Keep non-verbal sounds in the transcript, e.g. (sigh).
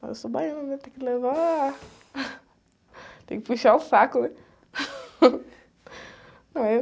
Mas eu sou baiana, né? Tem que levar... Tem que puxar o saco, né? (laughs)